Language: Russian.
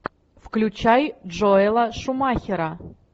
включай джоэла шумахера